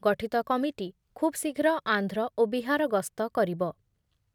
ଗଠିତ କମିଟି ଖୁବ୍ ଶୀଘ୍ର ଆନ୍ଧ୍ର ଓ ବିହାର ଗସ୍ତ କରିବ ।